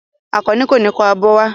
Àkànní kò ní kó abọ́ wá.